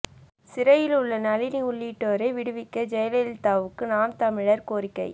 சிறையில் உள்ள நளினி உள்ளிட்டோரை விடுவிக்க ஜெயலலிதாவுக்கு நாம் தமிழர் கோரிக்கை